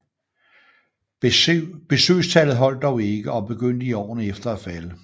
Besøgstallet holdt dog ikke og begyndte i årene efter at falde